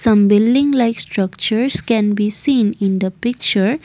some building like structures can be seen in the picture.